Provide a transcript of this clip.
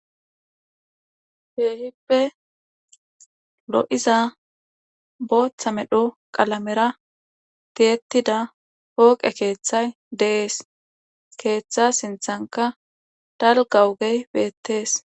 Keehipe lo7iza booththa medho qalamera tiyettida pooqe keethay de7ees keeththaa sinththankka dalgga ogey beettes.